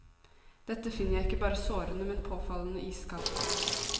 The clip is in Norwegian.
Dette finner jeg ikke bare sårende, men påfallende iskaldt.